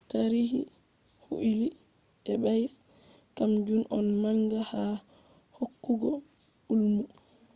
tarihi huilli ebay`s kam jun on manga ha hokkugo ilmu